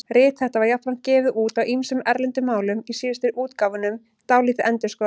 Rit þetta var jafnframt gefið út á ýmsum erlendum málum, í síðustu útgáfunum dálítið endurskoðað.